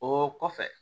O kɔfɛ